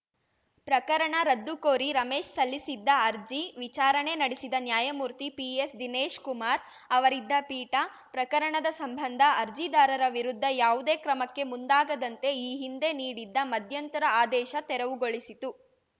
ಪ್ರಕರಣ ರದ್ದುಕೋರಿ ರಮೇಶ್‌ ಸಲ್ಲಿಸಿದ್ದ ಅರ್ಜಿ ವಿಚಾರಣೆ ನಡೆಸಿದ ನ್ಯಾಯಮೂರ್ತಿ ಪಿಎಸ್‌ದಿನೇಶ್‌ ಕುಮಾರ್‌ ಅವರಿದ್ದ ಪೀಠ ಪ್ರಕರಣದ ಸಂಬಂಧ ಅರ್ಜಿದಾರರ ವಿರುದ್ಧ ಯಾವುದೇ ಕ್ರಮಕ್ಕೆ ಮುಂದಾಗದಂತೆ ಈ ಹಿಂದೆ ನೀಡಿದ್ದ ಮಧ್ಯಂತರ ಆದೇಶ ತೆರವುಗೊಳಿಸಿತು